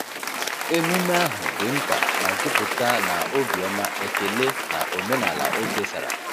Emume ahụ di nta ma juputa na obiọma, ekele, na omenala e kesara.